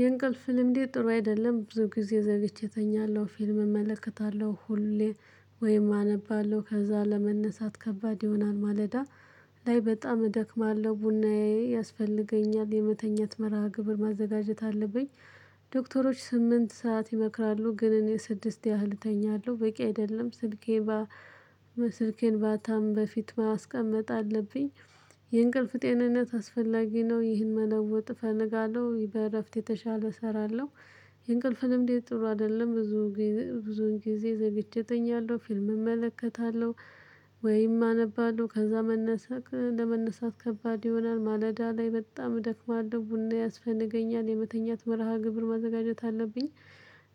የእንቅልፍ ልምድ ጥሩ አይደለም ብዙ ጊዜ ዘግቼ እተኛለሁ ፊልም እመለከታለሁ ሁሌ ወይም አነባለሁ ከዛ ለመነሳት ከባድ ይሆናል ማለዳ ላይ በጣም እደክማለሁ ቡናዬ ያስፈልገኛል። የመተኛት መርሃ ግብር ማዘጋጀት አለብኝ። ዶክተሮች ስምንት ሰዓት ይመክራሉ ግን እኔ ስድስት ያህል እተኛለሁ በቂ አይደለም። ስልኬን ስልኬን ባታም በፊት ማስቀመጥ አለብኝ። የእንቅልፍ ጤንነት አስፈላጊ ነው። ይህን መለወጥ እፈልጋለሁ በእረፍት የተሻለ እሰራለሁ። የእንቅልፍ ልምድ ጥሩ አይደለም። ብዙ ብዙን ጊዜ ዝግቼ እተኛለሁ ፊልም እመለከታለሁ። ወይም አነባለሁ ከዛ መነሳት ለመነሳት ከባድ ይሆናል ማለዳ ላይ በጣም እደክማለሁ። ቡና ያስፈነገኛል የመተኛት መርሃ ግብር ማዘጋጀት አለብኝ።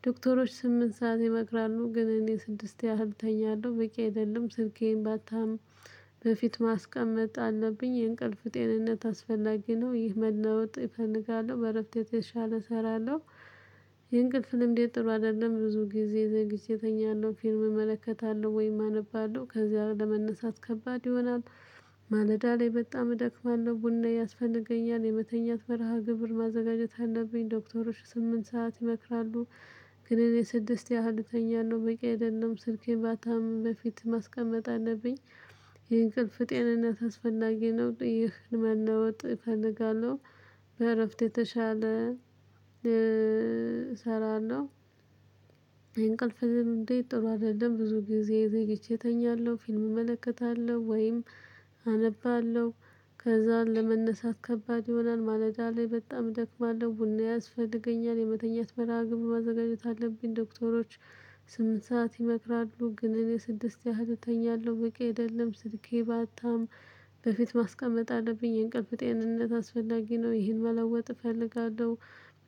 ዶክተሮች ስምንት ሰዓት ይመክራሉ ግን እኔ ስድስት ያህል እተኛለሁ በቂ አይደለም። ስልኬን ባታም በፊት ማስቀመጥ አለብኝ። የእንቅልፍ ጤንነት አስፈላጊ ነው። ይህ መናወጥ እፈልጋለሁ በእረፍት የተሻለ እሰራለሁ። ይሄን ቅልፍ ልምዴ ጥሩ አይደለም። ብዙ ጊዜ ዘግቼ እተኛለሁ ፊልም እመለከታለሁ ወይም አነባለሁ ከዚያ ለመነሳት ከባድ ይሆናል። ማለዳ ላይ በጣም እደክማለሁ ቡና ያስፈልገኛል የመተኛት መርሃ ግብር ማዘጋጀት አለብኝ። ዶክተሮች ስምንት ሰዓት ይመክራሉ። ግን እኔ ስድስት ያህል እተኛለሁ በቂ አይደለም ስልኬን ባታም በፊት ማስቀመጥ አለብኝ። የእንቅልፍ ጤንነት አስፈላጊ ነው። ይህን መናወጥ እፈልጋለሁ በእረፍት የተሻለ እሰራለሁ። እንቅልፍም እንዴት ጥሩ አይደለም። ብዙ ጊዜ ይዘህ እተኛለሁ ፊልም እመለከታለሁ ወይም አነባለሁ። ከዛ ለመነሳት ከባድ ይሆናል ማለዳ ላይ በጣም እደክማለሁ ቡና ያስፈልገኛል የመተኛት መርሃ ግብ ማዘጋጀት አለብኝ። ዶክተሮች ስምንት ሰዓት ይመክራሉ ግን እኔ ስድስት ያህል እተኛለሁ በቂ አይደለም። ስልኬ ባታም በፊት ማስቀመጥ አለብኝ። የእንቅልፍ ጤንነት አስፈላጊ ነው። ይህን መለወጥ እፈልጋለሁ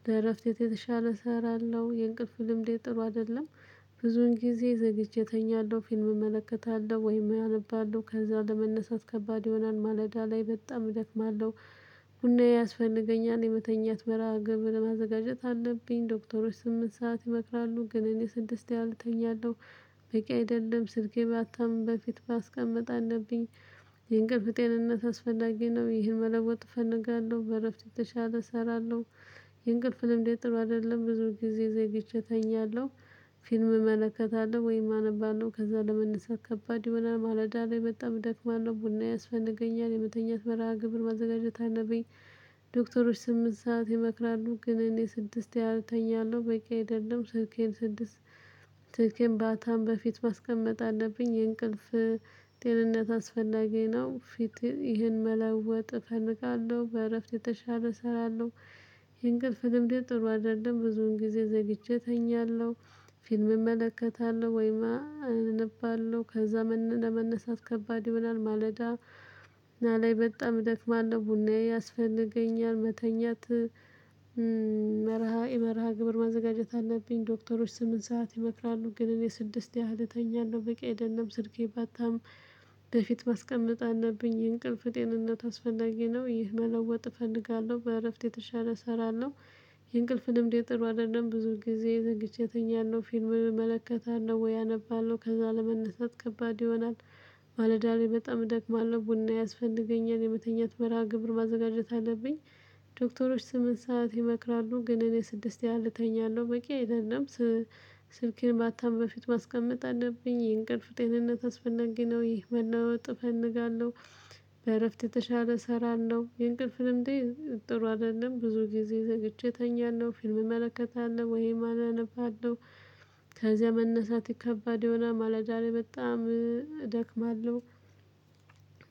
ለእረፍት የተሻለ እሰራለሁ። የእንቅልፍ ልምዴ ጥሩ አይደለም። ብዙን ጊዜ ዘግቼ እተኛለሁ ፊልም እመለከታለሁ ወይም አነባለሁ ከዛ ለመነሳት ከባድ የሆነን ማለዳ ላይ በጣም ልክማለሁ። ቡና ያስፈልገኛል የመተኛት መርሃ ግብር ማዘጋጀት አለብኝ። ዶክተሮች ስምንት ሰዓት ይመክራሉ ግን እኔ ስድስት ያህል እተኛለሁ። በቂ አይደለም ስልኬ ባታምም በፊት ባስቀምጥ አለብኝ። የእንቅልፍ ጤንነት አስፈላጊ ነው። ይህን መለወጥ እፈልጋለሁ በእረፍት የተሻለ እሰራለሁ። የእንቅልፍ ልምድ ጥሩ አይደለም። ብዙ ጊዜ ዘግቼ ተኛለሁ። ፊልም እመለከታለሁ ወይም አነባለው ከዛ ለመነሳት ከባድ ይሆናል ማለዳ ላይ መጣ እደክማለሁ ቡና ያስፈነገኛል የመተኛት መርሃ ግብር ማዘጋጀት አለብኝ። ዶክተሮች ስምንት ሰዓት ይመክራሉ ግን እኔ ስድስት ያህል እተኛለሁ በቂ አይደለም። ስልኬን ስድስት ስልኬን ባታም በፊት ማስቀመጥ አለብኝ። የእንቅልፍ ጤንነት አስፈላጊ ነው። ፊት ይሄን መለወጥ እፈልጋለሁ በእረፍት የተሻለ እሰራለሁ። የ እንቅልፍ ልምድ ጥሩ አይደለም። ብዙ ውን ጊዜ ዘግቼ እተኛለሁ። ፊልም እመለከታለሁ ወይማ አንባለሁ ከዛ ለመነሳት ከባድ ይሆናል። ማለዳ ና ላይ በጣም እደክማለው አለው ቡናዬ ያስፈልገኛል መተኛት መርሃ የመርሃ ግብር ማዘጋጀት አለብኝ። ዶክተሮች ስምንት ሰዓት ይመክራሉ ግን እኔ ስድስት ያህል እተኛለሁ በቂ አይደለም። ስልኬ ባታም በፊት ማስቀመጥ አለብኝ። የእንቅልፍ ጤንነት አስፈላጊ ነው። ይህ መለወጥ እፈልጋለሁ በእረፍት የተሻለ እሰራለሁ። የእንቅልፍ ልምዴ ጥሩ አይደለም። ብዙን ጊዜ ዘግይቼ እተኛለሁ ፊልም እመለከታለሁ ወይ አነባለሁ ከዛ ለመነሳት ከባድ ይሆናል። ማለዳ ላይ በጣም እደክማለው ቡና ያስፈልገኛል የመተኛት መርሃ ግብር ማዘጋጀት አለብኝ። ዶክተሮች ስምንት ሰዓት ይመክራሉ ግን እኔ ስድስት ያህል እተኛለሁ በቂ አይደለም። ስልኬን ማታም በፊት ማስቀመጥ አለብኝ። የእንቅልፍ ጤንነት አስፈላጊ ነው። ይህ መናወጥ እፈልጋለሁ በእረፍት የተሻለ እሰራለሁ። የእንቅልፍ ልምዴ ጥሩ አይደለም። ብዙ ጊዜ ዘግቼ እተኛለሁ ፊልም እመለከታለሁ ወይም አነባለሁ። ከዛ መነሳት ከባድ የሆነ ማለዳ ላይ በጣም እደክማለሁ።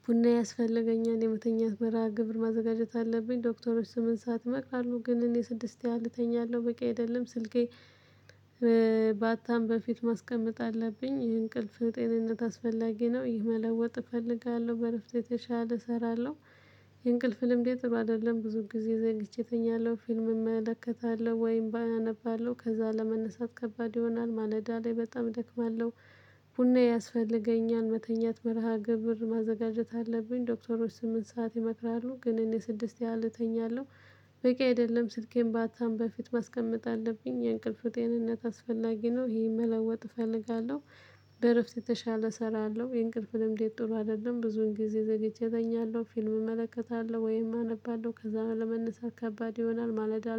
ቡና ያስፈለገኛል የመተኛት መርሃ ግብር ማዘጋጀት አለብኝ። ዶክተሮች ስምንት ሰዓት ይመክራሉ ግን እኔ ስድስት ያህል እተኛለሁ በቂ አይደለም። ስልኬ ባታም በፊት ማስቀመጥ አለብኝ። ይህ እንቅልፍ ጤንነት አስፈላጊ ነው። ይህ መለወጥ እፈልጋለሁ በእረፍት የተሻለ እሰራለሁ። የእንቅልፍ ልምድ ጥሩ አይደለም። ብዙም ጊዜ ዘግቼ እተኛለሁ ፊልም እመለከታለሁ ወይም ባያነባለሁ ከዛ ለመነሳት ከባድ ይሆናል ማለዳ ላይ በጣም እደክማለሁ። ቡና ያስፈልገኛል መተኛት መርሃ ግብር ማዘጋጀት አለብኝ። ዶክተሮች ስምንት ሰዓት ይመክራሉ ግን እኔ ስድስት ያህል እተኛለሁ በቂ አይደለም። ስልኬን ባታም በፊት ማስቀመጥ አለብኝ። የእንቅልፍ ጤንነት አስፈላጊ ነው። ይሄን መለወጥ እፈልጋለሁ በእረፍት የተሻለ እሰራለሁ። የእንቅልፍንም እንዴት ጥሩ አይደለም። ብዙን ጊዜ ዘግቼ እጠኛለሁ ፊልም እመለከታለሁ ወይም አነባለሁ ከዛ በኋላ ለመነሳት ከባድ ይሆናል። ማለዳ